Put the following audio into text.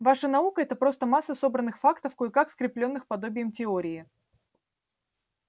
ваша наука-это просто масса собранных фактов кое-как скреплённых подобием теории